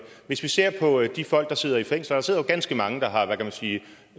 hvis vi ser på de folk der sidder i fængsel og der sidder jo ganske mange der har hvad kan man sige